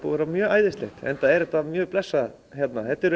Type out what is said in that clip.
vera mjög æðislegt enda er þetta mjög blessað hérna þetta eru